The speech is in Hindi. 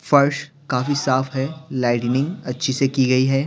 फर्श काफी साफ है लाइटनिंग अच्छी से की गई है।